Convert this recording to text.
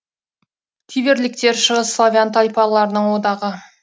тиверліктер шығыс славян тайпаларының одағы